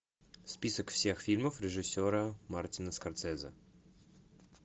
список всех фильмов режиссера мартина скорсезе